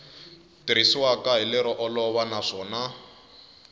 tirhisiwaka hi lero olova naswona